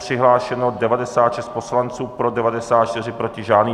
Přihlášeno 96 poslanců, pro 94, proti žádný.